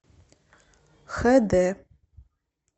х д